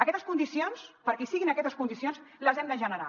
aquestes condicions perquè hi siguin aquestes condicions les hem de generar